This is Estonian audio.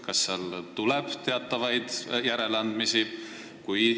Kas seal tuleb teatavaid järeleandmisi?